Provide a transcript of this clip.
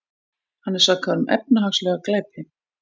Hann er sakaður um efnahagslega glæpi